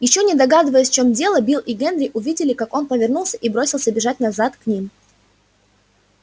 ещё не догадываясь в чём дело билл и генри увидели как он повернулся и бросился бежать назад к ним